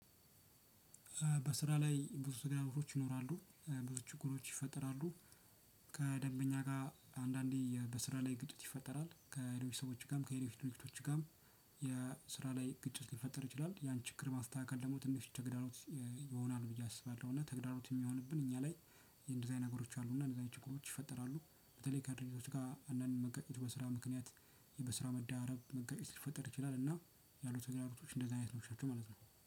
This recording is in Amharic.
በስራ ላይ ብዙ ተግዳሮቶች ይኖራሉ ብዙ ችግሮች ይፈጠራሉ። ከደንበኛ ጋ አንዳንዴ የበስራ ላይ ግጭት ይፈጠራል ከሌሎች ሰዎቹ ጋም ከሌሎች ድርጅቶች ጋም። የስራ ላይ ግጭት ሊፈጠር ይችላል ያን ችግር ማስተካከል ደሞ ትንሽ ተግዳሮት ይሆናል ብዬ አስባለሁ እና ተግዳሮት እሚሆንብን እኛ ላይ። እንደዚህ አይነት ነገሮች አሉ እና እንደዚህ አይነት ችግሮች ይፈጠራሉ። በተለይ ከድርጅቶች ጋ አንዳንድ መጋጨት በስራ ምክንያት። በስራ መዳረብ መጋጨት ሲፈጠር ይችላል እና ያሉት ተግዳሮቶች እንደዚህ አይነቶች ናቸው ማለት ነው